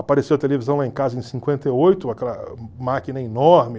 Apareceu a televisão lá em casa em cinquenta e oito, aquela máquina enorme,